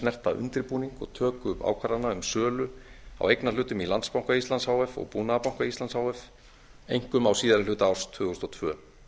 snerta undirbúning og töku ákvarðana um sölu á eignarhlutum í landsbanka íslands h f og búnaðarbanka íslands h f einkum á síðari hluta árs tvö þúsund og tvö